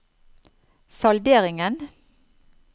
salderingen